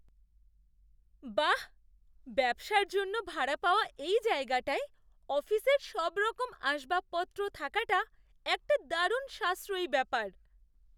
বাহ্! ব্যবসার জন্য ভাড়া পাওয়া এই জায়গাটায় অফিসের সবরকম আসবাবপত্র থাকাটা একটা দারুণ সাশ্রয়ী ব্যাপার!